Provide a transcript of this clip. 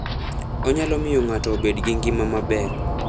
Onyalo miyo ng'ato obed gi ngima maber.